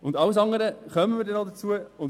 Zu allem anderen werden wir später noch kommen.